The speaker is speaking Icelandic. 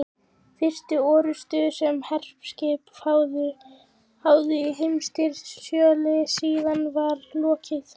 Fyrstu orrustu, sem herskip háðu í heimsstyrjöldinni síðari, var lokið